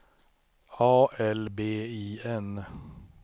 A L B I N